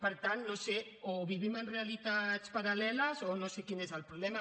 per tant no ho sé o vivim en realitats paral·leles o no sé quin és el problema